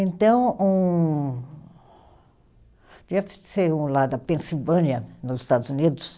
Então, um, devia ser um lá da Pensilvânia, nos Estados Unidos,